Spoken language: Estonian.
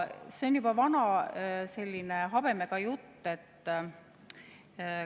See on juba vana, selline habemega jutt.